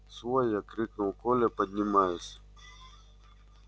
свой я крикнул коля поднимаясь